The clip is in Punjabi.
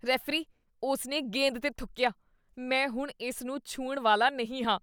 ਰੈਫਰੀ, ਉਸ ਨੇ ਗੇਂਦ 'ਤੇ ਥੁੱਕੀਆ। ਮੈਂ ਹੁਣ ਇਸ ਨੂੰ ਛੂਹਣ ਵਾਲਾ ਨਹੀਂ ਹਾਂ।